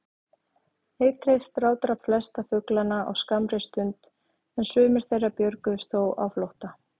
Eitrið strádrap flesta fuglana á skammri stund, en sumir þeirra björguðust þó á flótta.